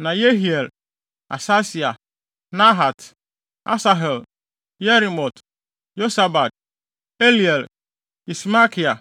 Na Yehiel, Asasia, Nahat, Asahel, Yerimot, Yosabad, Eliel, Ismakia,